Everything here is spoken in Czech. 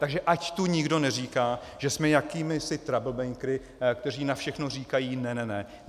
Takže ať tu nikdo neříká, že jsme jakýmisi troublemakery, kteří na všechno říkají ne ne ne.